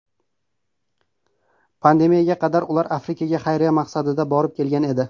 Pandemiyaga qadar ular Afrikaga xayriya maqsadida borib kelgan edi.